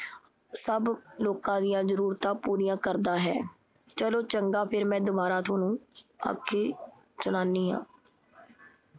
ਸਭ ਲੋਕਾਂ ਦੀਆ ਜ਼ਰੂਰਤਾਂ ਪੂਰੀਆਂ ਕਰਦਾ ਹੈ। ਚਲੋ ਚੰਗਾ ਫਿਰ ਮੈਂ ਦੁਬਾਰਾ ਥੋਨੂੰ ਆ ਕੇ ਸੁਣਾਨੀ ਆ।